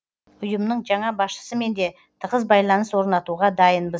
ұйымның жаңа басшысымен де тығыз байланыс орнатуға дайынбыз